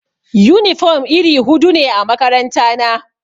Yunifom iri hudu ne a makarantana.